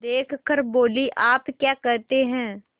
देख कर बोलीआप क्या कहते हैं